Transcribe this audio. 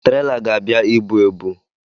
Traila ga-abịa ibu ebu